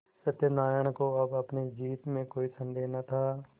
सत्यनाराण को अब अपनी जीत में कोई सन्देह न था